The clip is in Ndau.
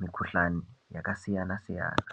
mikhuhlani yakasiyana siyana.